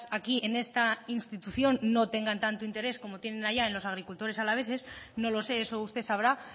aquí en esta institución no tengan tanto interés como tienen allá en los agricultores alaveses no lo sé eso usted sabrá